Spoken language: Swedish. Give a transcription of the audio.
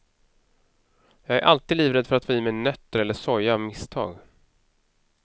Jag är alltid livrädd för att få i mig nötter eller soja av misstag.